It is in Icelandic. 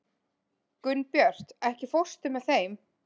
Gunnbjört, ekki fórstu með þeim?